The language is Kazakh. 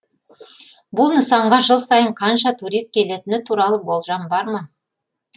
бұл нысанға жыл сайын қанша турист келетіні туралы болжам бар ма